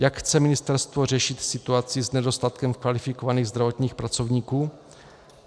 Jak chce ministerstvo řešit situaci s nedostatkem kvalifikovaných zdravotnických pracovníků?